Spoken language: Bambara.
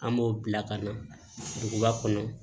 An b'o bila ka na duguba kɔnɔ